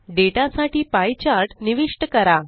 data साठी pie chart निविष्ट करा